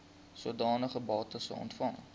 sodanige bates ontvang